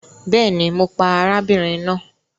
Bẹẹni, Mo pa arábìnrin náà